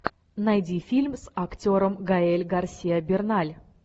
найди фильм с актером гаэль гарсиа берналь